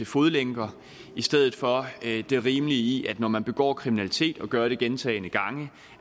fodlænker i stedet for det rimelige i at når man har begået kriminalitet og gør det gentagne gange